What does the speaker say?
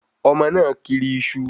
Ọmọ náà kiri iṣu